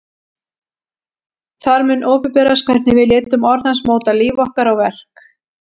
Þar mun opinberast hvernig við létum orð hans móta líf okkar og verk.